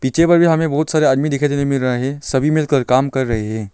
बहुत सारे आदमी दिखाई देने मिल रहे हैं सभी मिलकर काम कर रही है।